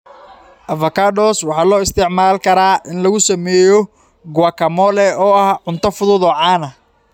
Avocados waxa loo isticmaali karaa in lagu sameeyo guacamole, oo ah cunto fudud oo caan ah.